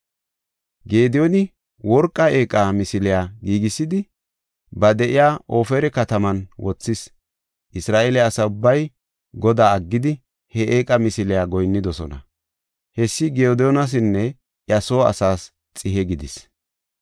Gediyooni worqa eeqa misiliya giigisidi, ba de7iya Ofira kataman wothis. Isra7eele asa ubbay Godaa aggidi he eeqa misiliya goyinnidosona; hessi Gediyoonasinne iya soo asaas xihe gidis.